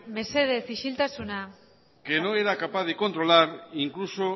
mesedez isiltasuna que no era capaz de controlar incluso